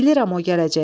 Mən bilirəm o gələcək.